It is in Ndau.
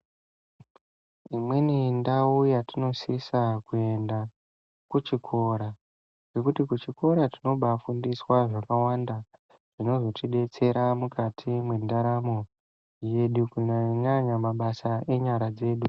Imweni ndau yatinosisa kuenda kuchikora nekuti kuchikora tinobafundiswa zvakawanda zvinozotidetsera mukati mwendaramo yedu kunyanya nyanya mabasa enyara dzedu.